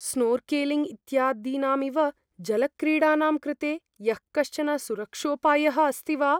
Snorkelling इत्यादीनामिव जलक्रीडानां कृते यःकश्चन सुरक्षोपायः अस्ति वा?